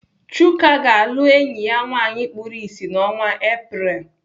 Chuka ga-alụ enyi ya nwaanyị kpuru ịsị n'ọnwa Apreel.